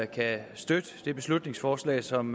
kan støtte det beslutningsforslag som